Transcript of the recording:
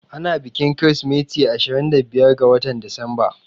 Ana bikin kirismeti ashirin da biyar ga watan Disamba